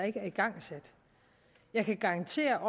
ikke er igangsat jeg kan garantere